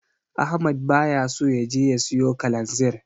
Ahmad baya so ya je ya siyo Kalanzir.